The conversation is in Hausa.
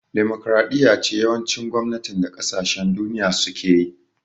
Demokaraɗiya ce yawancin gwamnatin da kasashen duniya suke yi